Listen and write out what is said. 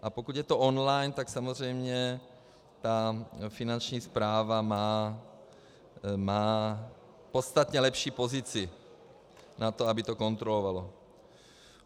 A pokud je to on-line, tak samozřejmě ta Finanční správa má podstatně lepší pozici na to, aby to kontrolovala.